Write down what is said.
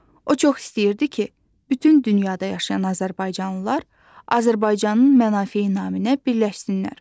O çox istəyirdi ki, bütün dünyada yaşayan azərbaycanlılar Azərbaycanın mənafeyi naminə birləşsinlər.